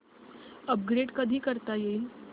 upgrade कधी करता येईल